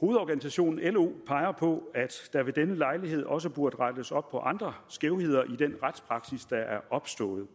hovedorganisationen lo peger på at der ved denne lejlighed også burde rettes op på andre skævheder i den retspraksis der er opstået